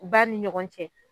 U ba ni ɲɔgɔn cɛ